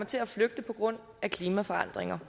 til at flygte på grund af klimaforandringer